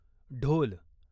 ढोल